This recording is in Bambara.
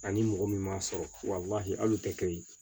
Ani mɔgɔ min m'a sɔrɔ wa hali o tɛ kɛ yi